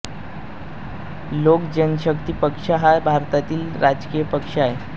लोक जनशक्ति पक्ष हा एक भारतातील राजकीय पक्ष आहे